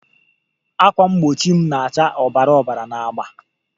Ákwà mgbochi m na-acha obara obara na agba